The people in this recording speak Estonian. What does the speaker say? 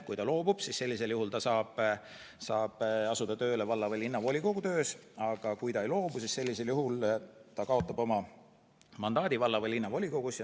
Kui ta loobub, siis sellisel juhul ta saab asuda tööle valla- või linnavolikogus, aga kui ta ei loobu, siis ta kaotab oma mandaadi valla- või linnavolikogus.